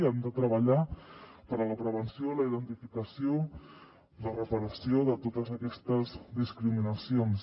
hem de treballar per la prevenció la identificació i la reparació de totes aquestes discriminacions